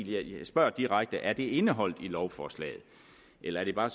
jeg spørger direkte er det indeholdt i lovforslaget eller er det bare